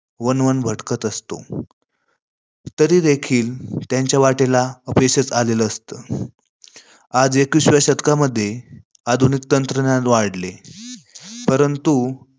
वनवन भटकत असतो, तरी देखील त्यांच्या वाटेला अपयशचं आलेले असते. आज एकविसाव्या शतकामध्ये तंत्रज्ञान आधुनिक वाढले परंतु